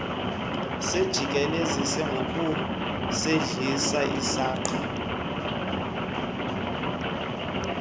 sijikelezise ngokusehlisa isangqa